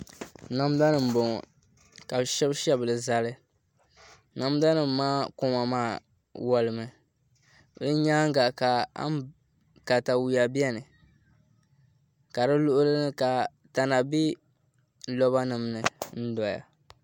Namda nim n bɔŋɔ ka bi shɛbi shɛbili zali namda nim maa koma maa wolimi di nyaanga ka katawiya biɛni ka di luɣuli ni ka tana bɛ roba nim ni n doya